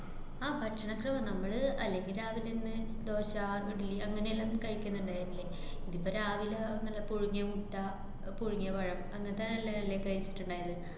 ആഹ് ഭക്ഷണോക്കെ, വ~ നമ്മള് അല്ലെങ്കി രാവിലന്നെ ദോശ, ഇഡ്ഡലി അങ്ങനേല്ലാം കയിക്കണ്ണ്ടാരുന്നില്ലേ. ഇതുപ്പ രാവിലെ നല്ല പുഴുങ്ങിയ മുട്ട, പുഴുങ്ങിയ പഴം അങ്ങനത്തെ നല്ലതല്ലേ കയിച്ചിട്ട്ണ്ടാരുന്നെ.